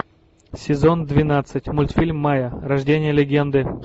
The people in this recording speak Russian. сезон двенадцать мультфильм майя рождение легенды